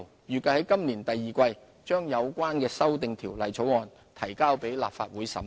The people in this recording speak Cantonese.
預計在今年第二季把有關修訂條例草案提交立法會審議。